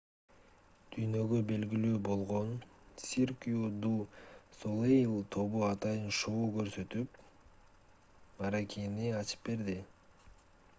дүйнөгө белгилүү болгон cirque du soleil тобу атайын шоу көрсөтүп мааракени ачып берди